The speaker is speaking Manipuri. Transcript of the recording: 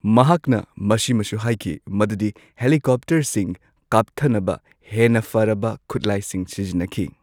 ꯃꯍꯥꯛꯅ ꯃꯁꯤꯃꯁꯨ ꯍꯥꯏꯈꯤ ꯃꯗꯨꯗꯤ ꯍꯦꯂꯤꯀꯣꯞꯇꯔꯁꯤꯡ ꯀꯥꯞꯊꯅꯕ ꯍꯦꯟꯅ ꯐꯔꯕ ꯈꯨꯠꯂꯥꯢꯁꯤꯡ ꯁꯤꯖꯤꯟꯅꯈꯤ꯫